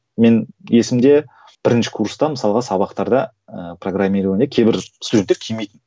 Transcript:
мен есімде бірінші курста мысалға сабақтарда ыыы программирование кейбір студенттер келмейтін